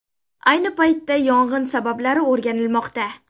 Ayni paytda yong‘in sabablari o‘rganilmoqda.